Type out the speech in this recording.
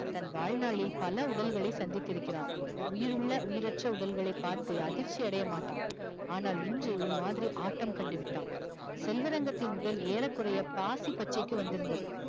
தன் வாழ்நாளில் பல உடல்களை சந்தித்திருக்கிறான் உயிருள்ள, உயிரற்ற உடல்களை பார்த்து அதிர்ச்சி அடையமாட்டான் ஆனால் இன்று ஒரு மாதிரி ஆட்டம் கண்டு விட்டான் செல்வரங்கத்தின் உடல் ஏறக்குறைய பாசி பச்சைக்கு வந்திருந்தது